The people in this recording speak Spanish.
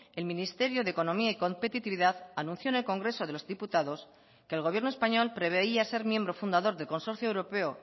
el ministerio de economía y competitividad anunció en el congreso de los diputados que el gobierno español preveía ser miembro fundador del consorcio europeo